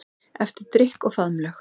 Eftir drykk og faðmlög.